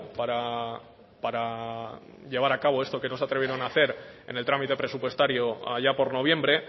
para llevar a cabo esto que no se atrevieron a hacer en el trámite presupuestario allá por noviembre